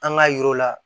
An k'a yir'u la